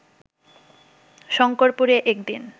শংকরপুরে একদিন